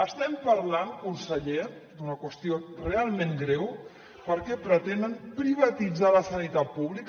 estem parlant conseller d’una qüestió realment greu perquè pretenen privatitzar la sanitat pública